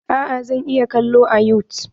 Eh zaka iya kalo a yutub.